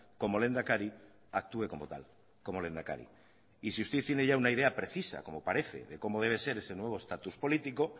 como lehendakari actúe como tal como lehendakari y si usted tiene ya una idea precisa como parece de cómo debe ser ese nuevo estatus político